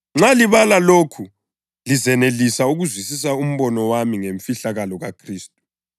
Nxa libala lokhu lizenelisa ukuzwisisa umbono wami ngemfihlakalo kaKhristu,